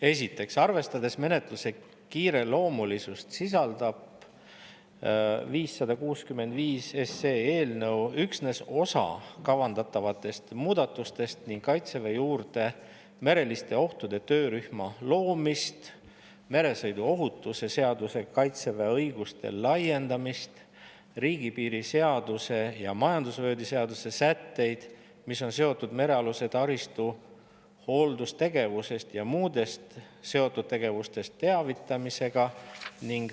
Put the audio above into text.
Esiteks, arvestades menetluse kiireloomulisust, sisaldab eelnõu 565 üksnes osa kavandatavatest muudatustest: Kaitseväe juurde mereliste ohtude töörühma loomist, meresõiduohutuse seadusega Kaitseväe õiguste laiendamist, riigipiiri seaduse ja majandusvööndi seaduse sätteid, mis on seotud merealuse taristu hooldusest ja muudest seotud tegevustest teavitamisega.